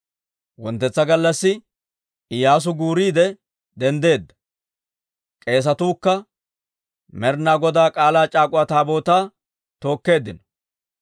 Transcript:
Wonttetsa gallassi Iyyaasu guuriide denddeedda; k'eesatuukka Med'ina Godaa K'aalaa c'aak'uwa Taabootaa tookkeeddino.